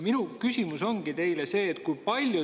Minu küsimus on teile see.